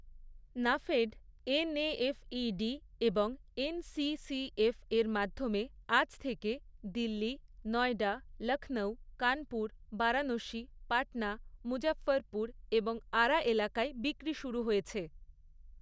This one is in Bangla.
নাফেড এন.এ.এফ.ই.ডি এবং এন.সি.সি.এফের মাধ্যমে আজ থেকে দিল্লি, নয়ডা, লক্ষ্ণৌ, কানপুর, বারাণসী, পাটনা, মুজফফরপুর এবং আরা এলাকায় বিক্রি শুরু হয়েছে।